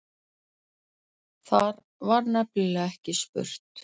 Þar var nefnilega ekki spurt